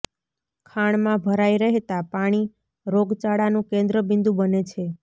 ખાણમાં ભરાઈ રહેતા પાણી રોગચાળાનું કેન્દ્ર બિંદુ બને છે